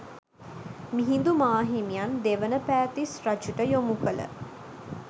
මිහිඳු මාහිමියන් දෙවන පෑතිස් රජුට යොමු කළ